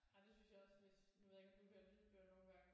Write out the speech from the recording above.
Nej det synes jeg også hvis nu ved jeg ikke om du hører lydbøger nogen gange?